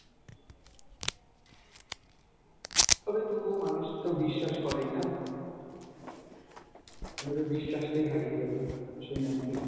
তবে তবুও মানুষ তো বিশ্বাস করেই , না? আর না হলে বিশ্বাসটাই হারিয়ে যাবে মানুষের মন থেকে।